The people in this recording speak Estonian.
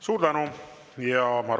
Suur tänu!